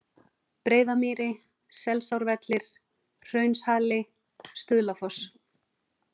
Breiðamýri, Selsárvellir, Hraunshali, Stuðlafoss